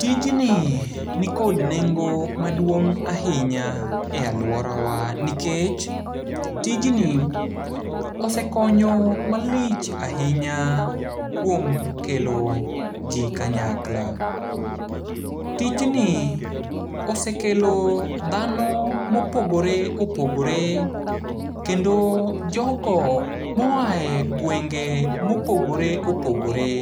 Tijni nikod nengo maduong' ahinya e aluorawa nikech, tijni osekonyo malich ahinya kuom kelo ji kanyakla. Tijni osekelo dhano mopogore opogore kendo jogo moae gwenge mopogore opogore,